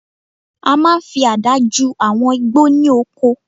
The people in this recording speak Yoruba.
A máa n fi àdá ju àwọn igbó ní oko